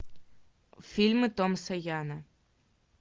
фильмы томаса яна